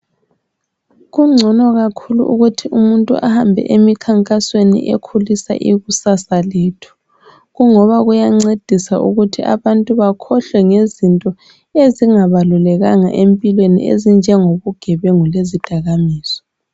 Kungcono kakhulu ukuthi umuntu ahambe emikhankasweni ekhulisa ikusasa lethu, kungoba kuyancedisa ukuthi abantu bakhohlwe ngezinto ezingabalulekanga empilweni ezinjengobugebengu lezidakamizwa.